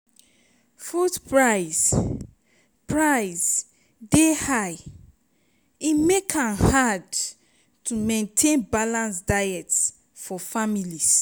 food price price dey high e make am hard to maintain balanced diet for families.